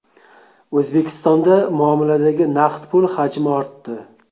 O‘zbekistonda muomaladagi naqd pul hajmi ortdi.